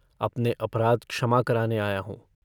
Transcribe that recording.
अपने अपराध क्षमा कराने आया हूँ।